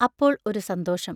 അപ്പോൾ ഒരു സന്തോഷം.